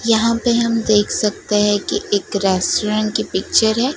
यहां पे हम देख सकते हैं कि एक रेस्टोरेंट की पिक्चर है।